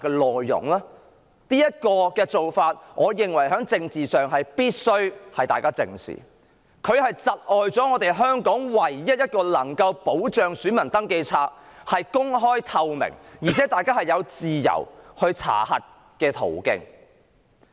我認為大家必須正視這種政治做法，它窒礙了香港唯一保障選民登記冊公開及透明，以及大家查核選民登記冊的途徑。